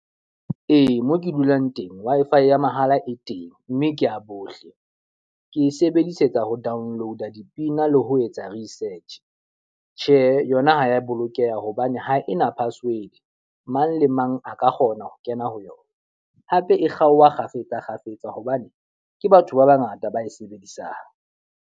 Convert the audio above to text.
Ee, mo ke dulang teng Wi-Fi ya mahala e teng mme ke ya bohle. Ke e sebedisetsa ho download-a dipina le ho etsa research. Tjhe, yona ha ya bolokeha hobane ha ena password, mang le mang a ka kgona ho kena ho yona. Hape e kgaoha kgafetsa kgafetsa hobane ke batho ba ba ngata ba e sebedisang.